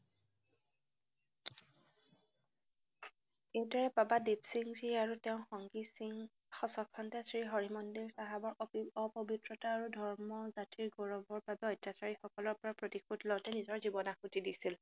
এইৰে বাবা দিপ সিংজী আৰু তেওঁৰ সংগী সিং সচবচন্দে শ্ৰী হৰিমন্দিৰ চাহাৱৰ অপৱিত্ৰতা আৰু ধৰ্মৰ জাতিৰ গৌগৱৰ বাবে অত্যাচাৰীসকলৰপৰা প্ৰতিশোধ লওঁতে নিজৰ জীৱন আহুতি দিছিল।